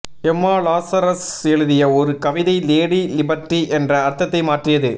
எம்மா லாசரஸ் எழுதிய ஒரு கவிதை லேடி லிபர்டி என்ற அர்த்தத்தை மாற்றியது